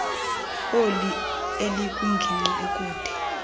oli elikwingingqi ekude